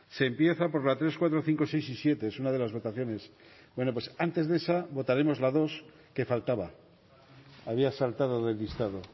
se empieza por la tres cuatro cinco seis y siete es una de las votaciones bueno pues antes de esa votaremos la dos que faltaba había saltado de listado